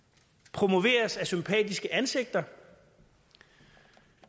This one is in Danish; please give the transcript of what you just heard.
promoveres af sympatiske ansigter